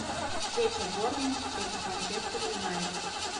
встреча борнмут против манчестер юнайтед